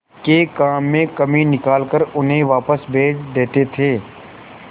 के काम में कमी निकाल कर उन्हें वापस भेज देते थे